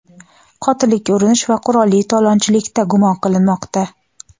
qotillikka urinish va qurolli talonchilikda gumon qilinmoqda.